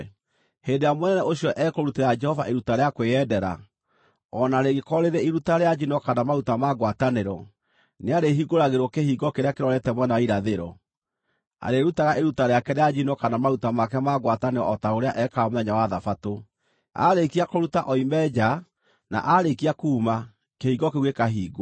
Hĩndĩ ĩrĩa mũnene ũcio ekũrutĩra Jehova iruta rĩa kwĩyendera, o na rĩngĩkorwo rĩrĩ iruta rĩa njino kana maruta ma ngwatanĩro, nĩarĩhingũragĩrwo kĩhingo kĩrĩa kĩrorete mwena wa irathĩro. Arĩĩrutaga iruta rĩake rĩa njino kana maruta make ma ngwatanĩro o ta ũrĩa ekaga mũthenya wa Thabatũ. Aarĩkia kũruta oime nja na aarĩkia kuuma, kĩhingo kĩu gĩkaahingwo.